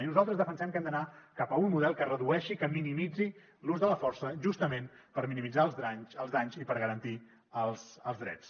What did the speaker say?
i nosaltres defensem que hem d’anar cap a un model que redueixi que minimitzi l’ús de la força justament per minimitzar els danys i per garantir els drets